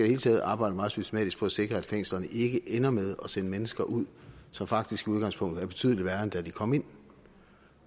hele taget arbejde meget systematisk på at sikre at fængslerne ikke ender med at sende mennesker ud som faktisk i udgangspunktet er betydelig værre end da de kom ind